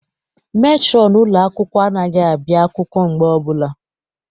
Metrọn ụlọ akwụkwọ anaghị abịa akwụkwọ mgbe ọbụla.